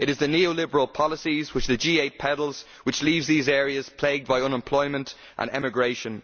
It is the neoliberal policies which the G8 peddles which leave these areas plagued by unemployment and emigration.